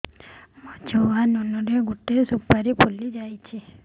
ମୋ ଛୁଆ ନୁନୁ ର ଗଟେ ସୁପାରୀ ଫୁଲି ଯାଇଛି